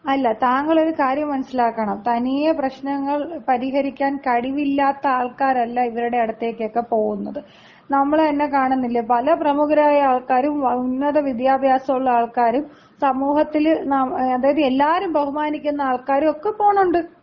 അല്ല, താങ്കളൊരു കാര്യം മനസ്സിലാക്കണം, തനിയെ പ്രശ്നങ്ങൾ പരിഹരിക്കാൻ കഴിവില്ലാത്ത ആൾക്കാരല്ല ഇവരുടെ അടുത്തേക്കൊക്കെ പോകുന്നത്. നമ്മള് തന്നെ കാണുന്നില്ലേ, പല പ്രമുഖരായ ആൾക്കാരും ഉന്നത വിദ്യാഭ്യാസൊള്ള ആൾക്കാരും സമൂഹത്തില് അതായത് എല്ലാരും ബഹുമാനിക്കുന്ന ആൾക്കാരും ഒക്ക പോണുണ്ട്.